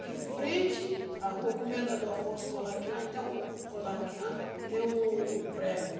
De frente, a rua Comendador Afonso Queilaquian, tem um Queilaquian, tem um prédio